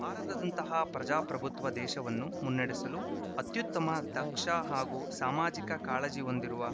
ಭಾರತದಂಥಹ ಪ್ರಜಾಪ್ರಭುತ್ವ ದೇಶವನ್ನು ಮುನ್ನಡೆಸಲು ಅತ್ಯುತ್ತಮ ದಕ್ಷ ಹಾಗೂ ಸಾಮಾಜಿಕ ಕಾಳಜಿ ಹೊಂದಿರುವ